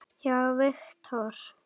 hjá Vektor.